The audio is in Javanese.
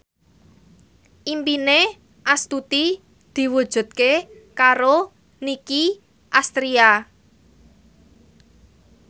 impine Astuti diwujudke karo Nicky Astria